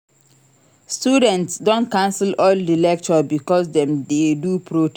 Students don cancel all di lecture because dem dey do protest.